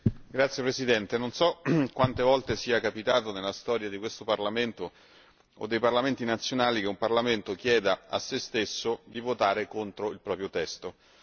Signor Presidente, non so quante volte sia accaduto nella storia di questo Parlamento o dei Parlamenti nazionali che un parlamento chieda di votare contro il proprio testo.